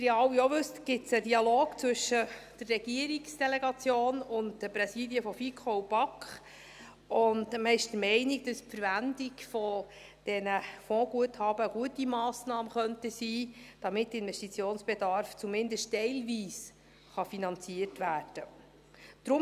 Wie Sie alle ja auch wissen, gibt es einen Dialog zwischen der Regierungsdelegation und den Präsidien der FiKo und der BaK, und man ist der Meinung, dass die Verwendung dieser Fondsguthaben eine gute Massnahme sein könnte, damit der Investitionsbedarf zumindest teilweise finanziert werden kann.